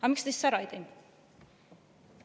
Aga miks te siis ei teinud?